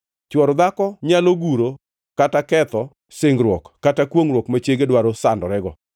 Chwor dhako nyalo guro kata ketho singruok kata kwongʼruok ma chiege dwaro sandorego.